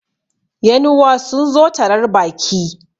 yan'uwa sun zo tarar Baki